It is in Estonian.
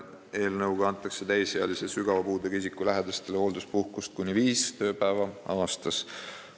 Eelnõuga antakse täisealise sügava puudega isiku lähedastele hoolduspuhkust kuni viis tööpäeva aastas.